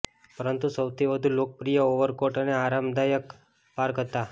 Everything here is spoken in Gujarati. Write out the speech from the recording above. પરંતુ સૌથી વધુ લોકપ્રિય ઓવરકોટ અને આરામદાયક પાર્ક હતા